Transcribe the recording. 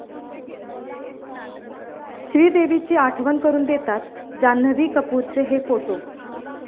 श्रीदेवीची आठवण करून देतात, जान्हवी कपूरचे 'हे' फोटो